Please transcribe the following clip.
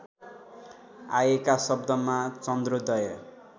आएका शब्दमा चन्द्रोदय